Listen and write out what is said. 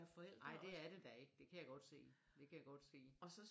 Nej det er det da ikke det kan jeg godt se det kan jeg godt se